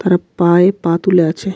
তার পায়ে পা তুলে আছে.